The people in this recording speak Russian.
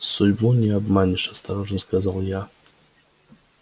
судьбу не обманешь осторожно сказал я